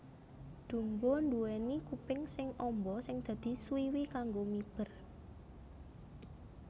Dumbo nduwèni kuping sing amba sing dadi swiwi kanggo miber